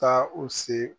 Taa u se